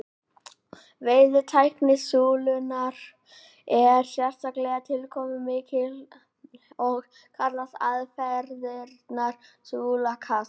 veiðitækni súlunnar er sérstaklega tilkomumikil og kallast aðfarirnar súlukast